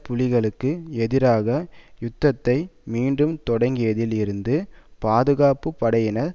புலிகளுக்கு எதிரான யுத்தத்தை மீண்டும் தொடங்கியதில் இருந்து பாதுகாப்பு படையினர்